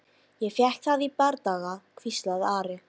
Ég fékk það í bardaga, hvíslaði Ari.